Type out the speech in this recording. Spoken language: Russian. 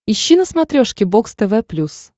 ищи на смотрешке бокс тв плюс